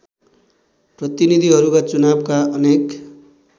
प्रतिनीधिहरूका चुनावका अनेक